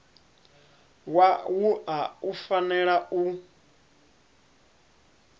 wa wua u fanela u